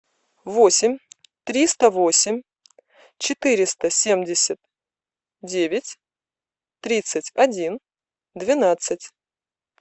восемь триста восемь четыреста семьдесят девять тридцать один двенадцать